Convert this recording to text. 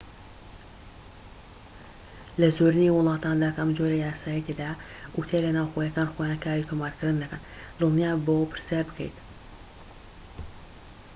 لە زۆرینەی وڵاتاندا کە ئەم جۆرە یاسایەی تێدایە، ئوتێلە ناوخۆییەکان خۆیان کاری تۆمارکردن دەکەن دڵنیاببەوە پرسیار بکەیت